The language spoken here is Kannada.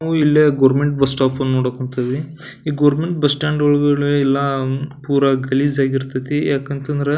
ನಾವು ಇಲ್ಲೆ ಗೋರ್ಮೆಂಟ್ ಬಸ್ಸ್ ಸ್ಟೋಪ್ ಅನ್ನು ನೋಡಾಕ್ ಕುಂತಿದೀವಿ ಈ ಗೋರ್ಮೆಂಟ್ ಬಸ್ಸ್ ಸ್ಟ್ಯಾಂಡ್ ಒಳ್ಗಡೆ ಎಲ್ಲ ಪೂರ ಗಲೀಜಾಗಿ ಇರ್ತತಿ ಯಾಕಂತಂದ್ರ --.